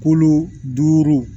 Kolo duuru